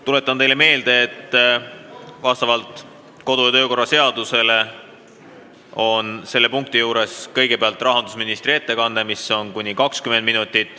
Tuletan teile meelde, et vastavalt kodu- ja töökorra seadusele on selle punkti arutelul kõigepealt rahandusministri ettekanne, mis kestab kuni 20 minutit.